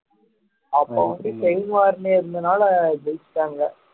அப்போ வந்து இருந்ததுனால ஜெயிச்சுட்டாங்க